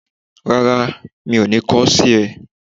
Rárá, mi ò ní kọ sí ẹ